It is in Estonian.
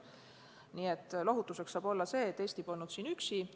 Nii et lohutuseks võib öelda, et Eesti polnud siin üksi.